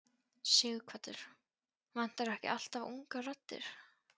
Sighvatur: Vantar ekki alltaf ungar raddir?